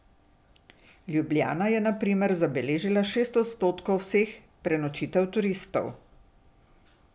Ljubljana je na primer zabeležila šest odstotkov vseh prenočitev turistov.